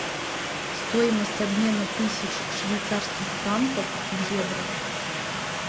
стоимость обмена тысяч швейцарских франков в евро